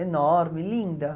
Enorme, linda.